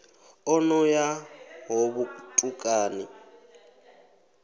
o no ya ho vhutukani